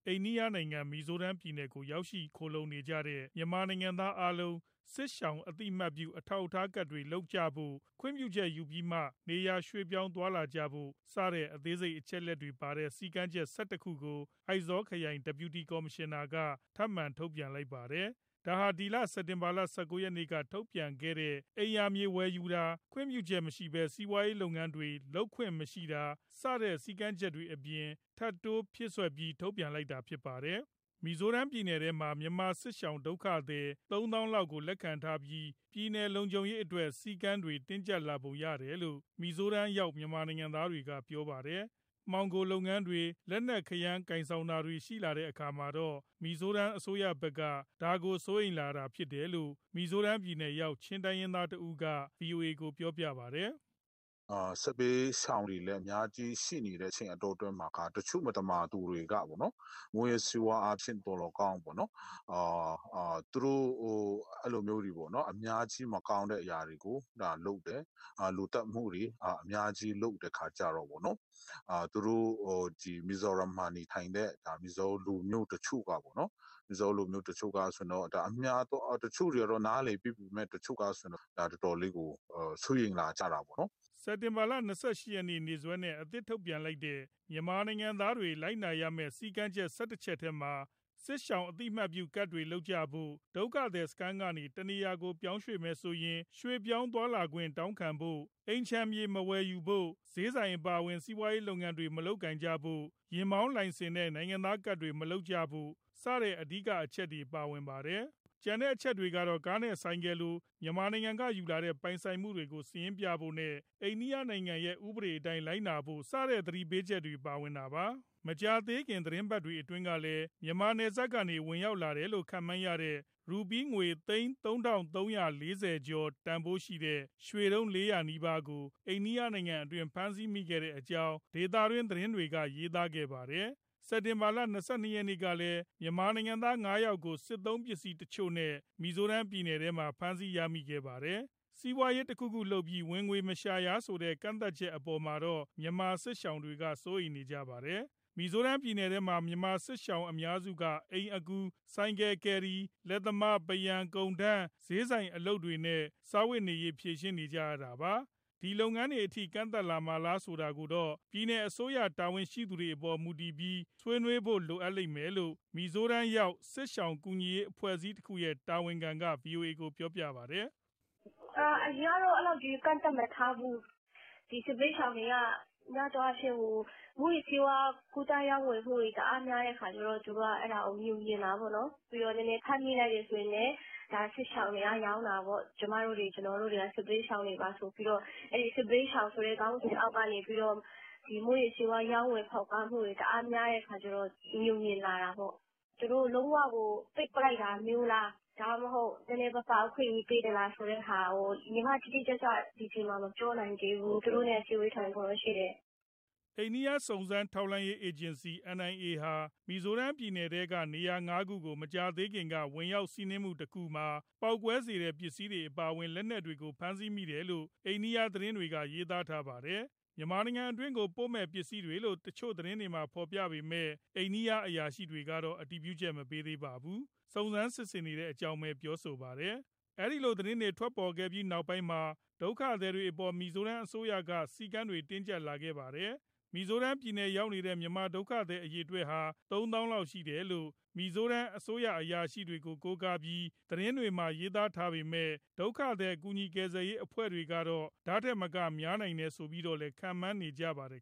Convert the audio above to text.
အိန္ဒိယနိုင်ငံ၊ မီဇိုရမ်ပြည်နယ်ကို ရောက်ရှိလာကြတဲ့ မြန်မာနိုင်ငံသားအားလုံး စစ်ရှောင် အသိအမှတ်ပြု အထောက်အထားကဒ်တွေ လုပ်ကြဖို့၊ ခွင့်ပြုချက်ယူပြီးမှ နေရာရွှေ့ပြောင်းသွားလာကြဖို့ စတဲ့အသေးစိတ် အချက်အလက်တွေပါတဲ့ စည်းကမ်းချက် ၁၁ခုကို အိုက်ဇောခရိုင် Deputy Commissioner က ထပ်မံ ထုတ်ပြန်လိုက်ပါတယ်။ ဒါဟာ ဒီလ စက်တင်ဘာလ ၁၉ရက်နေ့က ထုတ်ပြန်ခဲ့တဲ့ အိမ်ယာမြေဝယ်ယူတာ၊ ခွင့်ပြုချက်မရှိပဲ စီးပွားရေးလုပ်ငန်းတွေ လုပ်ခွင့်မရှိတာ စတဲ့ စည်းကမ်းချက်တွေအပြင် ထပ်တိုးဖြည့်စွက်ပြီး ထုတ်ပြန်လိုက်တာဖြစ်ပါတယ်။ မီဇိုရမ်ပြည်နယ်ထဲမှာ မြန်မာစစ်ရှောင် ဒုက္ခသည် ၃၀,၀၀၀ ကျော်လောက်ကို လက်ခံထားပြီး ပြည်နယ်လုံခြုံရေးအတွက် စည်းကမ်းတွေ တင်းကျပ်လာပုံရတယ်လို့ မီဇိုရမ်ရောက် မြန်မာနိုင်ငံသားတွေက ပြောပါတယ်။ မှောင်ခိုလုပ်ငန်းတွေ၊ လက်နက်ခဲယမ်း ကိုင်ဆောင်ထားတာတွေ ရှိလာတဲ့အခါမှာတော့ မီဇိုရမ်အစိုးရဘက်က ဒါကို စိုးရိမ်လာတာ ဖြစ်နိုင်တယ်လို့ မီဇိုရမ် ပြည်နယ်ရောက် ချင်းတိုင်းရင်းသားတဦးက ဗွီအိုအေကို ပြောပါတယ်။ " စစ်ဘေးရှောင်တွေလည်း အများကြီးရှိနေတဲ့အတောအတွင်းမှာ တချို့မသမာသူတွေက မူးယစ်ဆေးဝါးအားဖြင့် သော်လည်းကောင်း အဲလိုမျိုး အများကြီးမကောင်းတဲ့ အရာတွေကို လုပ်တယ်၊ လူသတ်မှုတွေ အများကြီးလုပ်တဲ့အခါကြတော့ သူတို့မီဇိုရမ်မှာနေထိုင်တဲ့ မီဇိုးလူမျိုး တချို့တွေက နားလည်ပေးပေမဲ့ တချို့ကဆိုရင် တော်တော်လေးကို စိုးရိမ်လာကြတာပေါ့နော်။" စက်တင်ဘာလ ၂၈ ရက်နေ့စွဲနဲ့ အသစ်ထုတ်ပြန်လိုက်တဲ့ မြန်မာနိုင်ငံသားတွေ လိုက်နာရမယ့် စည်းကမ်းချက် ၁၁ချက်ထဲမှာ စစ်ရှောင် အသိအမှတ်ပြုကဒ်တွေ လုပ်ကြဖို့၊ ဒုက္ခသည်စခန်းကနေ တခြားနေရာကို ပြောင်းမယ်ဆိုရင် ရွှေ့ပြောင်းသွားလာခွင့် တောင်းခံဖို့၊ အိမ်ခြံမြေ မဝယ်ယူဖို့၊ ဈေးဆိုင် အပါအဝင် စီးပွားရေးလုပ်ငန်းတွေ မလုပ်ကိုင်ဖို့၊ ယာဉ်မောင်းလိုင်စင်နဲ့ နိုင်ငံသားကဒ်တွေ မလုပ်ကြဖို့ စတဲ့အဓိကအချက် ပါဝင်ပါတယ်။ ကျန်တဲ့အချက်တွေမှာတော့ ကားနဲ့ဆိုင်ကယ်လို မြန်မာနိုင်ငံကယူလာတဲ့ ပိုင်ဆိုင်မှုတွေကို စာရင်းပြဖို့နဲ့ အိန္ဒိယနိုင်ငံရဲ့ ဥပဒေအတိုင်း လိုက်နာဖို့ စတဲ့သတိပေးချက်တွေ ပါဝင်တာပါ။ မကြာသေးခင် သီတင်းပတ်တွေအတွင်းကလည်း မြန်မာနယ်စပ်ကနေ ဝင်ရောက်လာတယ်လို့ ခန့်မှန်းရတဲ့ ရူးပီးငွေသိန်း ၃၃၄၀ ကျော် တန်ဖိုးရှိတဲ့ ရွှေတုံး ၄၀၀ နီးပါးကို အိန္ဒိယနိုင်ငံအတွင်း ဖမ်းဆီးမိခဲ့တဲ့အကြောင်း ဒေသတွင်း သတင်းတွေက ရေးသားခဲ့ပါတယ်။ စက်တင်ဘာလ ၂၂ရက် ကလည်း မြန်မာနိုင်ငံသား ၅ယောက်ကို စစ်သုံးပစ္စည်းတချို့နဲ့ မီဇိုရမ်ပြည်နယ်ထဲမှာ ဖမ်းဆီးရမိခဲ့ပါတယ်။ စီးပွားရေး တခုခုလုပ်ပြီး ဝင်ငွေမရှာရဆိုတဲ့ ကန့်သတ်ချက်အပေါ်မှာတော့ မြန်မာစစ်ရှောင်တွေက စိုးရိမ်ကြပါတယ်။ မီဇိုရမ်ပြည်နယ်ထဲမှာ မြန်မာစစ်ရှောင် အများစုက အိမ်အကူ၊ ဆိုင်ကယ် ကယ်ရီ၊ လက်သမား၊ ပန်းရံ၊ ကုန်ထမ်း၊ ဈေးဆိုင်အလုပ်တွေနဲ့ စားဝတ်နေရေး ဖြေရှင်းနေရတာပါ။ ဒီလုပ်ငန်းတွေအထိ ကန့်သတ်မှာလားဆိုတာကိုတော့ ပြည်နယ်အစိုးရ တာဝန်ရှိသူတွေအပေါ် မူတည်ပြီး၊ ဆွေးနွေးဖို့လိုမယ်လို့ မီဇိုရမ်ရောက် စစ်ရှောင်ကူညီရေးအဖွဲ့အစည်းတခုရဲ့ တာဝန်ခံက ဗွီအိုအေကို ပြောပါတယ်။ " အရင်ကတော့ အဲလောက်ကြီး ကန့်သတ်မထားဘူး၊ စစ်ဘေးရှောင်တွေက များသောအားဖြင့် မူးယစ်ဆေးဝါး ကူးသန်းရောင်းဝယ်မှုတွေ တအားများတဲ့အခါကြတော့ သူတို့ကအဲဒါကို ငြိုငြင်တာပေါ့နော်။ ပြီးတော့ ဖမ်းမိလိုက်တယ်ဆိုရင်လည်း ဒါစစ်ရှောင်တွေက ရောင်းတာပေါ့၊ ကျမတို့တွေ ကျနော်တို့တွေက စစ်ဘေးရှောင်တွေပါ ဆိုပြီးတော့ အဲဒီစစ်ဘေးရှောင်ဆိုတဲ့ ခေါင်းစဉ်အောက်ကနေ ဒီမူးယစ်ဆေးဝါး ရောင်းဝယ်ဖောက်ကားမှုတွေ တအားများတဲ့အခါကြတော့ ငြိုငြင်လာတာပေါ့။ သူတို့လုံးဝကို ပိတ်ပစ်လိုက်တာမျိုးလား ဒါမှမဟုတ် နည်းနည်းပါးပါး အခွင့်အရေးပေးသလား ဆိုတဲ့ဟာကို ညီမတိတိကျကျ ဒီအချိန်မှာ မပြောနိုင်သေးဘူး သူတို့နဲ့ အစည်းအဝေး ထိုင်ဖို့တော့ရှိတယ်။" အိန္ဒိယစုံစမ်းထောက်လှမ်းရေး အေဂျင်စီ NIA ဟာ မီဇိုရမ်ပြည်နယ်က နေရာငါးခုကို မကြာသေးခင်က ဝင်ရောက်စီးနင်းမှုတခုမှာ ပေါက်ကွဲစေတဲ့ပစ္စည်းတွေ အပါအဝင် လက်နက်တွေကို ဖမ်းဆီးမိတယ်လို့ အိန္ဒိယသတင်းတွေက ရေးသားပါတယ်။ မြန်မာနိုင်ငံအတွင်းကို ပို့မယ့် ပစ္စည်းတွေလို့ သတင်းတချို့မှာ ဖေါ်ပြပေမဲ့ အိန္ဒိယ အရာရှိတွေကတော့ အတည်ပြုချက်မပေးပါဘူး။ စုံစမ်းစစ်ဆေးနေတဲ့အကြောင်း ပြောဆိုပါတယ်။ ဒီလို သတင်းတွေ ထွက်လာပြီးနောက်ပိုင်းမှာ ဒုက္ခသည်တွေအပေါ် မီဇိုရမ်အစိုးရက စည်းကမ်းတွေ တင်းကြပ်လာခဲ့တာပါ။ မီဇိုရမ်ရောက်နေတဲ့ မြန်မာဒုက္ခသည်အရေအတွက်ဟာ ၃ သောင်းလောက်ရှိတယ်လို့ မီဇိုရမ်အစိုးရအရာရှိတွေကို ကိုးကားပြီး သတင်းတွေမှာ ရေးပေမဲ့ ဒုက္ခသည်ကူညီကယ်ဆယ်ရေး အဖွဲ့တွေကတော့ ဒီထက်မက များနိုင်တယ်ဆိုပြီးတော့လည်း ခန့်မှန်းနေကြပါတယ်